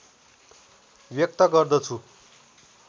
व्यक्त गर्दछु